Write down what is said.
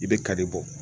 I bɛ kari bɔ